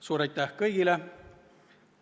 Suur aitäh kõigile!